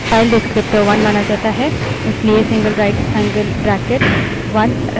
यदि इसे हटा देते है तो standard output file डिस्क्रीप्टर1 माना जाता है